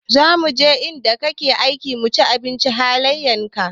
Za muje inda kake aiki mu binciki halayen ka.